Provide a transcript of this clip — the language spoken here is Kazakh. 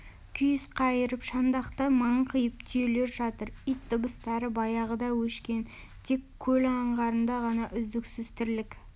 күйіс қайырып шандақта маңқиып түйелер жатыр ит дыбыстары баяғыда өшкен тек көл аңғарында ғана үздіксіз тірлік